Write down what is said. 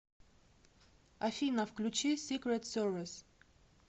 афина включи сикрет сервис